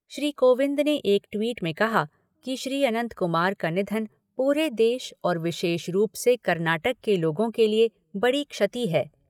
श्री कोविंद ने एक ट्वीट में कहा कि श्री अनंत कुमार का निधन पूरे देश और विशेष रूप से कर्नाटक के लोगों के लिए बड़ी क्षति है।